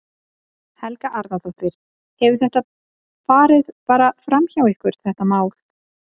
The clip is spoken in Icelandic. Helga Arnardóttir: Hefur þetta farið bara fram hjá ykkur þetta mál?